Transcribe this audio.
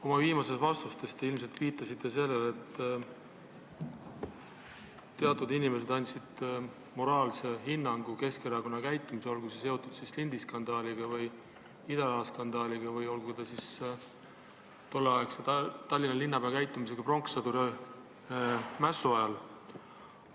Oma viimases vastuses te ilmselt viitasite sellele, et teatud inimesed andsid moraalse hinnangu Keskerakonnale, olgu see seotud lindiskandaaliga või idaraha skandaaliga või endise Tallinna linnapea käitumisega pronkssõduri mässu ajal.